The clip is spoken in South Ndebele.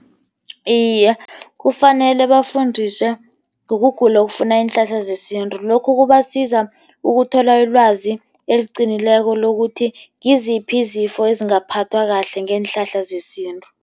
Iye, kufanele bafundiswe ngokugula okufuna iinhlahla zesintu. Lokhu kubasiza ukuthola ilwazi eliqinileko lokuthi ngiziphi izifo ezingaphathwa kahle ngeenhlahla zesintu.